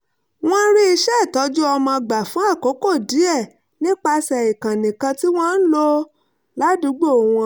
wọ́n rí iṣẹ́ ìtọ́jú ọmọ gbà fún àkókò díẹ̀ nípasẹ̀ ìkànnì kan tí wọ́n ń lò ládùúgbò wọn